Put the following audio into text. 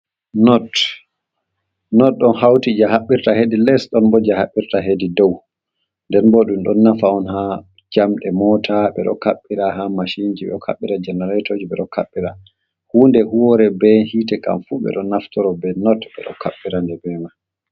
Not ɗon hauti je haɓɓirta hedi les ɗon bo je haɓɓirta hedi dow. Nden bo ɗum ɗon nafa on ha jamɗe mot, ɓe ɗo kaɓɓira ha mashinji, ɓe ɗo kaɓɓira janaratoji, ɓe ɗo kaɓɓira hunde huwore be hite kam fu ɓe ɗo naftoro be not ɓe ɗo kaɓɓira nde be mai.